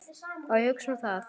Og hugsa um hann.